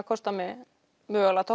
kostað mig